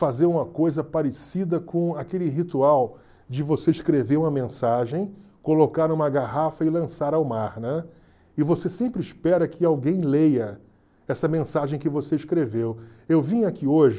fazer uma coisa parecida com aquele ritual de você escrever uma mensagem colocar numa garrafa e lançar ao mar né e você sempre espera que alguém leia essa mensagem que você escreveu eu vim aqui hoje